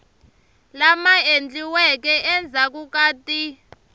lama endliweke endzhaku ka ti